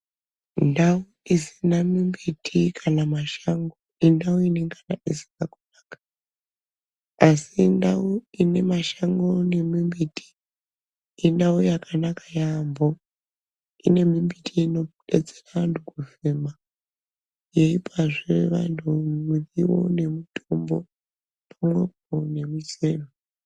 Ndau isina mumbuti kana mashango indau inenge isina kunakaka asi ndau ine mashango nemumbuti indau yakanaka yambo ine mumbuti inobetsera vandu kufema yeipazve vandu muriwo namitombo zvitoropo nemusero.